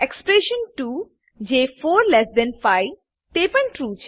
expression 2 જે 45 તે પણ ટ્રૂ